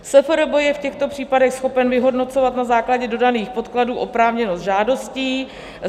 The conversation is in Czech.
SFRB je v těchto případech schopen vyhodnocovat na základě dodaných podkladů oprávněnost žádostí.